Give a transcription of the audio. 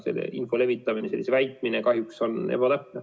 Selle info levitamine, selle väitmine on ebatäpne.